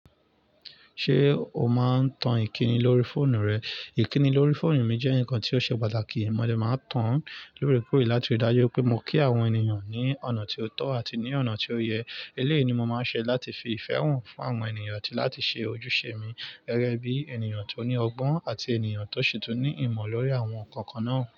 Ṣé o máa ń tan ìkìni lórí fóònù rẹ? Ìkíni lórí fóònù mi jẹ́ ǹkan tí ó ṣe pàtàkì. Mo lè máa ń tan lóòrèkóòrè láti ri dáju pé mo kí àwọn ènìyàn ní ọ̀nà tí ó tọ́ àti ní ọ̀nà tí ó yẹ. Eléyìí ni mo máa ń ṣe láti fi ìfẹ́ hàn fún àwọn ènìyàn àti láti ṣe ojúṣe mi gẹ́gẹ́ bí ènìyàn tó ní ọgbọ́n àti ènìyàn tó ṣi tun ní ìmọ̀ lórí àwọn nǹkan kan náà.